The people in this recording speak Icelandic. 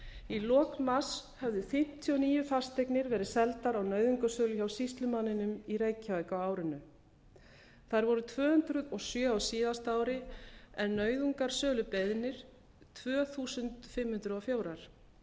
í lok mars höfðu fimmtíu og níu fasteginri verið seldar á nauðungarsölu hjá sýslumanninum í reykjavík á árinu þær voru tvö hundruð og sjö á síðasta ári en nauðungarsölubeiðnir tvö þúsund fimm hundruð og fjögur